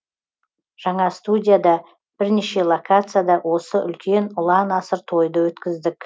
жаңа студияда бірнеше локацияда осы үлкен ұлан асыр тойды өткіздік